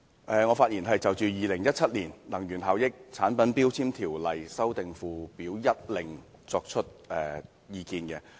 我發言是要就《2017年能源效益條例令》提出意見。